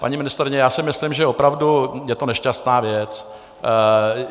Paní ministryně, já si myslím, že opravdu je to nešťastná věc.